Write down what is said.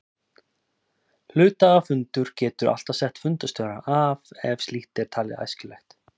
Hluthafafundur getur alltaf sett fundarstjóra af ef slíkt er talið æskilegt.